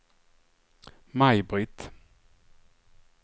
Maj-Britt